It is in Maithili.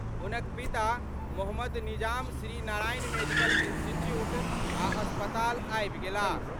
हुनक पिता मो निजाम श्री नारायण मेडिकल इंस्टीट्यूट आ अस्पताल आबि गेलाह।